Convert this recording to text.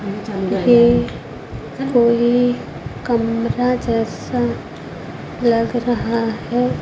ये कोई कमरा जैसा लग रहा है।